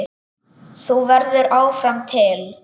Þú verður áfram til.